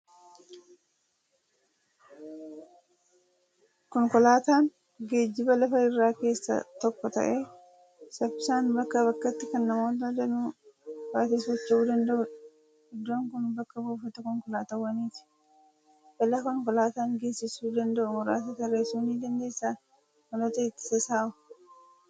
Konkolaataan geejjiba lafa irraa keessaa tokko ta'ee, saffisaan bakkaa bakkatti kan namoota danuu baatee socho'uu danda'udha. Iddoon kun bakka buufata konkolaataawwaniiti. Balaa konkolaataan geessisuu danda'u muraasa tarreessuu ni dandeessaa? Maloota ittisa isaahoo?